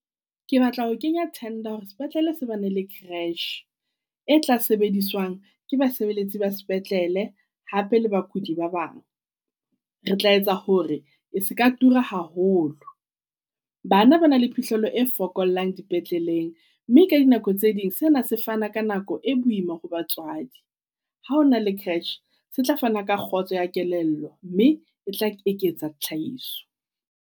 Ke batla ho kenya tender hore sepetlele se bana le creche, e tla sebediswang ke basebeletsi ba sepetlele hape le bakudi ba bang. Re tla etsa hore e se ka tura haholo. Bana ba na le phihlello e fokolang dipetleleng. Mme ka dinako tse ding sena se fana ka nako e boima ho batswadi. Ha o na le creche se tla fana ka kgotso ya kelello mme e tla eketsa tlhahiso.